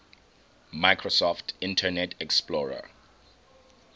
microsoft internet explorer